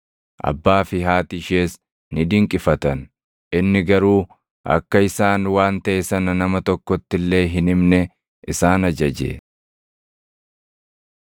Abbaa fi haati ishees ni dinqifatan; inni garuu akka isaan waan taʼe sana nama tokkotti illee hin himne isaan ajaje.